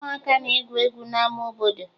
Ụmụaka na-egwu egwu n'ama obodo